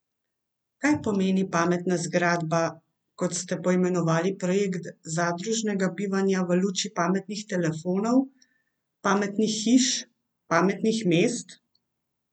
Kaj pomeni pametna zgradba, kot ste poimenovali projekt zadružnega bivanja, v luči pametnih telefonov, pametnih hiš, pametnih mest?